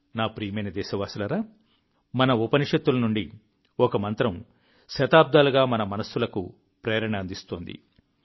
నా ప్రియమైన దేశవాసులారా మన ఉపనిషత్తుల నుండి ఒక మంత్రం శతాబ్దాలుగా మన మనస్సులకు ప్రేరణ అందిస్తోంది